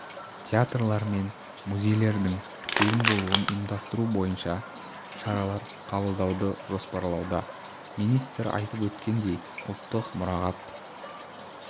театрлар мен музейлердің тегін болуын ұйымдастыру бойынша шаралар қабылдауды жоспарлауда министр айтып өткендей ұлттық мұрағат